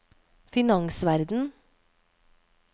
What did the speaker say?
finansverden